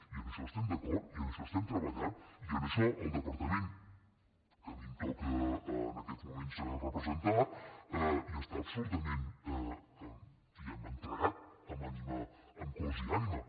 i amb això hi estem d’acord i en això hi treballem i en això el departament que a mi em toca en aquests moments representar hi està absolutament diguem ne entregat amb cos i ànima